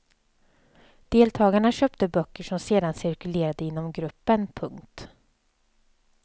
Deltagarna köpte böcker som sedan cirkulerade inom gruppen. punkt